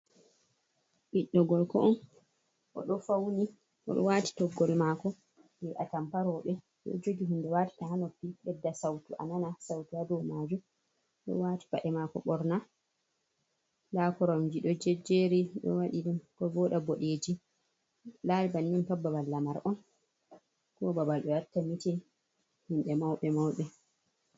Ɓiɗɗo gorko oɗo fauni, oɗo waati toggowol mako jey atampa rooɓe, oɗo jogi hunde watata ha noppi bedda sautu a nana sautu ha dow majum. Oɗo waati paɗe mako borna, nda koromje ɗo jejjeri o waɗi ɗum ko vooɗa bodeji, lari bannin pat babal lamar on, ko babal ɓe watta mitin hinɓe mauɓe mauɓe.